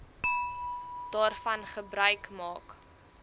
daarvan gebruik maak